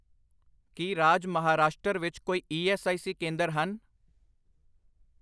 ਕੀ ਰਾਜ ਮਹਾਰਾਸ਼ਟਰ ਵਿੱਚ ਕੋਈ ਈ ਐੱਸ ਆਈ ਸੀ ਕੇਂਦਰ ਹਨ ?